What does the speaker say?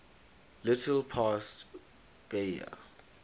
little past bahia